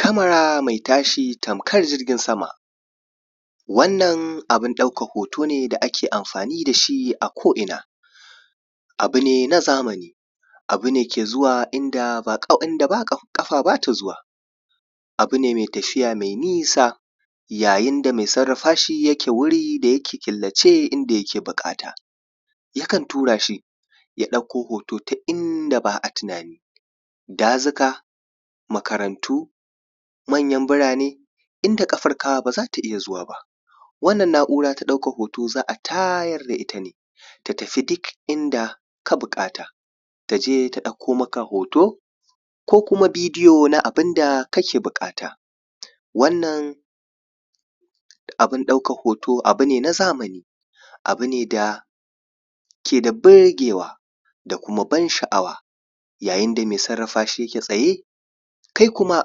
Kama mai tashi tamkar jirgin sama, wannan abin ɗaukar hoto ne da ak amfani da shi a ko’ina. Abu ne na zamani, abu ne ke zuwa inda ba inda ƙafa ba ta zuwa, abu ne mai tafiya mai nisa, yayin da mai sarrafa shi yake wuri da yake killace, inda yake buƙata. Yakan tura shi ya ɗauko hoto ta inda ba a tunani, dazuka, makarantu, mayan birane, inda ƙafarka ba za ta iya zuwa ba. Wannan na’ura ta ɗaukar hoto za a tayar da ita ne ta tafi duk inda ka buƙata, ta je ta ɗauko maka hoto ko kuma bidiyo na abun da ka ke buƙata. Wannan abun ɗaukan hoto abu ne na zamani, abu ne da yake da birgewa da kuma ban sha’awa yayin da mai sarrafa shi yake tsaye, kai kuma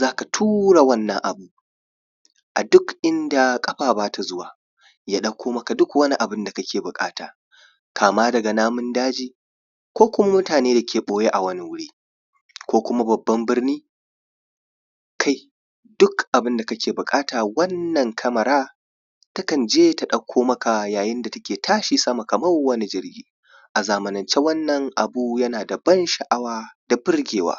za ka tura wannan abun a duk inda ƙafa ba ta zuwa ya ɗauko maka duk wani abu da kake buƙata, kama daga namun daji ko kuma mutane da ke ɓoye a wani wuri ko kuma babban birni, kai duk abin da ka ke buƙata wannan kamara takan je ta ɗauko maka yayin da take tashi sama kamar wani jirgi. kai duk abin da ka ke buƙata wannan kamara takan je ta ɗauko maka yayin da take tashi sama kamar wani jirgi.